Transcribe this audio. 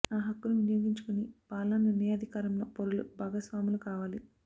ఆ హక్కును వినియోగించుకొని పాలనా నిర్ణయాధికారంలో పౌరులు భాగస్వా ములు కావాలి